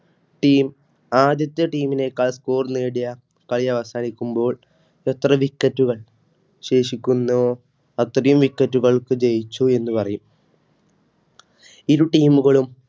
Team ആദ്യത്തെ Team നേക്കാൾ Score നേടി കളി അവസാനിക്കുമ്പോൾഎത്ര wicket ശേഷിക്കുന്നുവോ അത്രയും wicket ക്ക് ജയിച്ചു എന്ന് പറയും ഇരു Team കളും